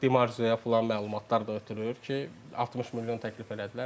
Artıq Di Marziyə filan məlumatlar da ötürür ki, 60 milyon təklif elədilər.